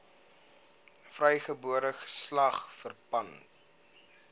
vrygebore geslag verpand